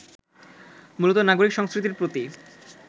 মূলত নাগরিক সংস্কৃতির প্রতি